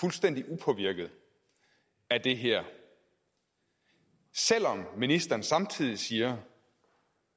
fuldstændig upåvirket af det her selv om ministeren samtidig siger